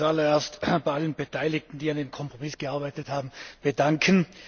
Ich möchte mich zu allererst bei allen Beteiligten, die an dem Kompromiss gearbeitet haben, bedanken.